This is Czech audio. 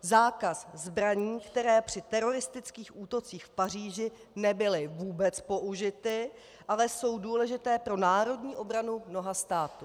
Zákaz zbraní, které při teroristických útocích v Paříži nebyly vůbec použity, ale jsou důležité pro národní obranu mnoha států.